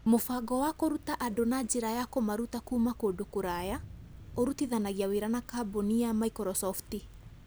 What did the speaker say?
Mũbango wa kũruta andũ na njĩra ya kũmaruta kuuma kũndũ kũraya ũrutithanagia wĩra na kambuni ya Microsoft.